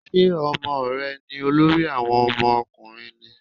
Ṣé Ọmọ rẹ ni olórí àwọn ọmọ ọkùnrin ni?